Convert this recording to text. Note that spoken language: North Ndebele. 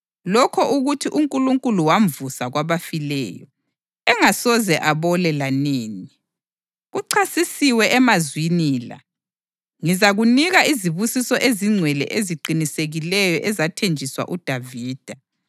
Lokho ukuthi uNkulunkulu wamvusa kwabafileyo, engasoze abole lanini, kucacisiwe emazwini la: ‘Ngizakunika izibusiso ezingcwele eziqinisekileyo ezathenjiswa uDavida.’ + 13.34 U-Isaya 55.3